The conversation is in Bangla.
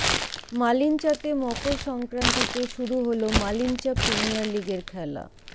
মালিঞ্চাতে মকর সংক্রান্তি তে শুরু হলো মালিঞ্চা প্রিমিয়ার লিগের খেলা